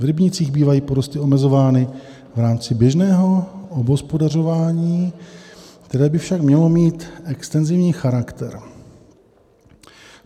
V rybnících bývají porosty omezovány v rámci běžného obhospodařování, které by však mělo mít extenzivní charakter.